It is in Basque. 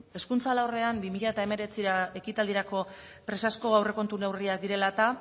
hezkuntza alorrean bi mila hemeretziko ekitaldirako presazko aurrekontu neurriak direla eta